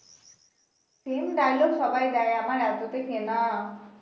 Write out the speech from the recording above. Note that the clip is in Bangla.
same dialogue সবাই দেয় আমার এতোতে কেনা।